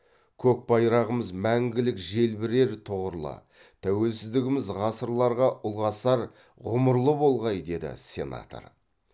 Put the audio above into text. көк байрағымыз мәңгілік желбірер тұғырлы тәуелсіздігіміз ғасырларға ұлғасар ғұмырлы болғай деді сенатор